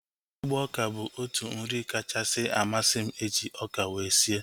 Ịgba oka bụ otu nri kachasị amasị m eji ọka wee sie